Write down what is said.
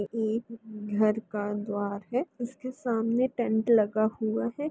इ घर का द्वार है। इसके सामने टेंट लगा हुवा है।